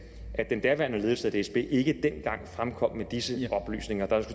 at den daværende ledelse af dsb ikke dengang fremkom med disse oplysninger der